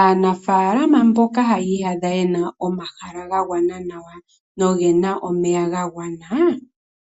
Aanafala mboka ye na omahala ga gwana nawa nomeya ga gwana